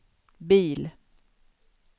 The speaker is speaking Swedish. bil